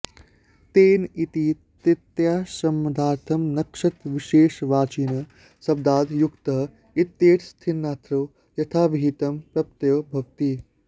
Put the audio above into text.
तेन इति तृतीयासमर्थाद् नक्षत्रविशेषवाचिनः शब्दाद् युक्तः इत्येतस्मिन्नर्थे यथाविहितं प्रत्ययो भवति